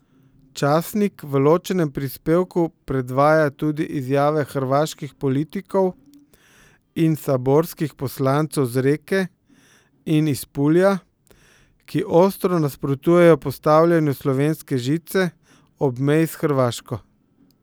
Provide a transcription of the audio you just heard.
Časnik v ločenem prispevku predvaja tudi izjave hrvaških politikov in saborskih poslancev z Reke in iz Pulja, ki ostro nasprotujejo postavljanju slovenske žice ob meji s Hrvaško.